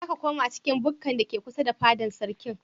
Za ka koma cikin bukkar da ke kusa da fadar sarkin?